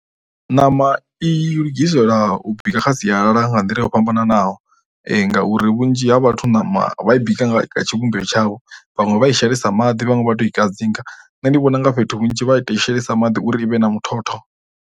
Ṋama i lugisela u bika kha sialala nga nḓila yo fhambananaho ngauri vhunzhi ha vhathu ṋama vha i bika nga tshivhumbeo tshavho, vhaṅwe vha i shelesa maḓi vhaṅwe vha tou i kadzinga. Nṋe ndi vhona u nga fhethu hunzhi vha tou i shelesa maḓi uri i vhe na muthotho.